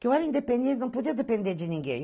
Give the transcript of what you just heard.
Que eu era independente, não podia depender de ninguém.